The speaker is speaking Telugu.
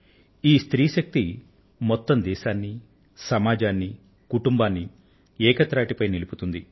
ఈ స్త్రీ శక్తి మొత్తం దేశాన్ని సమాజాన్ని కుటుంబాన్ని ఏక తాటిపై నిలుపుతుంది